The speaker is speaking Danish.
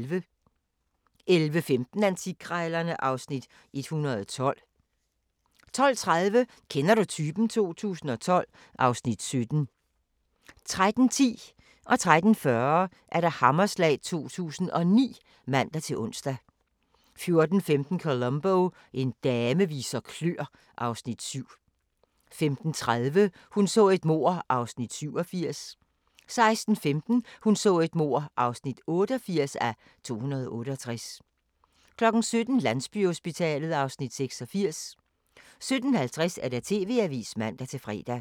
11:15: Antikkrejlerne (Afs. 112) 12:00: Under hammeren (man-fre) 12:30: Kender du typen? 2012 (Afs. 17) 13:10: Hammerslag 2009 (man-ons) 13:40: Hammerslag 2009 (man-ons) 14:15: Columbo: En dame viser kløer (Afs. 7) 15:30: Hun så et mord (87:268) 16:15: Hun så et mord (88:268) 17:00: Landsbyhospitalet (Afs. 86) 17:50: TV-avisen (man-fre)